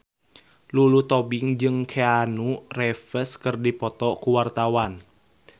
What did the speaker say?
Lulu Tobing jeung Keanu Reeves keur dipoto ku wartawan